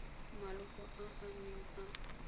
maloko a a neng a